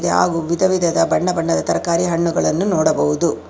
ಹಾಗೂ ವಿಧವಿಧದ ಬಣ್ಣಬಣ್ಣದ ತರಕಾರಿ ಹಣ್ಣುಗಳನ್ನು ನೋಡಬಹುದು.